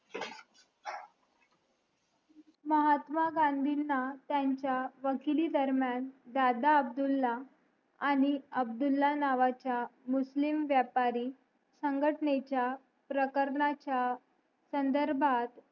महात्मा गांधींना त्यांच्या वकिली दरम्यान दादा अब्दुल्ला आणि अब्दुल्ला नावाच्या मुस्लिम व्यापारी संघटनेच्या प्रकरणाच्या संधर्भात